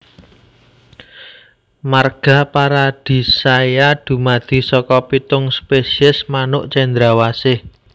Marga Paradisaea dumadi saka pitung spesies manuk cendrawasih